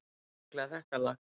Sérstaklega þetta lag.